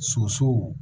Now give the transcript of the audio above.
Sosow